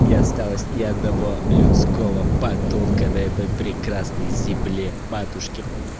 не осталось ни одного людского подонка на этой прекрасной земле матушке